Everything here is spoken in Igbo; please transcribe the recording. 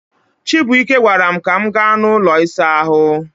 chibuike gwaram ka m ga n'ulo Isa ahu